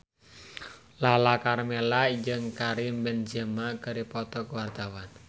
Lala Karmela jeung Karim Benzema keur dipoto ku wartawan